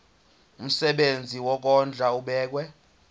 umsebenzi wokondla ubekwa